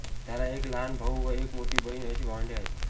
त्याला एक लहान भाऊ व एक मोठी बहीण अशी भावंडे आहेत